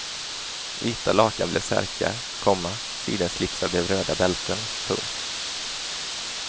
Vita lakan blev särkar, komma sidenslipsar blev röda bälten. punkt